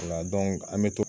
Nga an bɛ to